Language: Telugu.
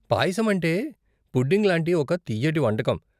పాయసం అంటే పుడ్డింగ్ లాంటి ఒక తియ్యటి వంటకం.